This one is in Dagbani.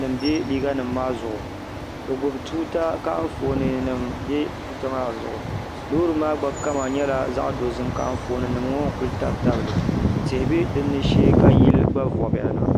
nim pa di zuɣ' be gbabi tuuta nim ka anƒɔnim pa di zuɣ' lori maa kama gba nyɛla zaɣ' dozim anƒɔnim ŋɔ kuli tabtabili tihi bɛ dini shɛɛ ka tihi gba vubiyana